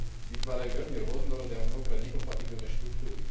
vytvárajú veľmi rôznorodé a mnohokrát nekompatibilné štruktúry.